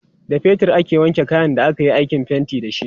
da fetir aka wanke kayan da akayi aikin fainti da shi